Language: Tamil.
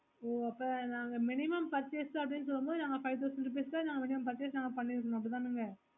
ஓ அப்போ நாங்க minimum purchase அப்புடின்னு சோனா நாங்க five thousand rupees க்கு நாங்க purchase பண்ணிற்குனோம் அப்புடித்தாங்க